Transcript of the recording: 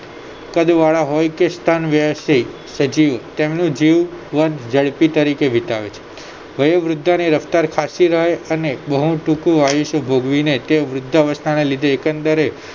કદવાળા હોય કે સજીવ તેમનું જીવ વેન ઝડપી તરીકે વિતાવે વયોવૃધાની રફતાર ખાસી રહે અને બોવ ટૂંકું આયુષ્ય ભોગવીને તે વૃદ્ધાવસ્થાને લીધે એકંદરે